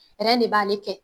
de b'ale kɛ;